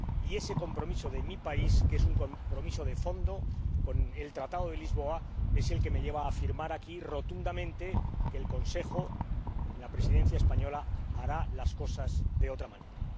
Y ese compromiso de mi país, que es un compromiso de fondo con el Tratado de Lisboa, es el que me lleva a afirmar aquí, rotundamente, que el Consejo, durante la Presidencia española, hará las cosas de otra manera.